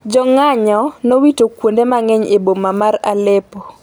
jong'anyo nowito kuonde mang’eny e boma mar Aleppo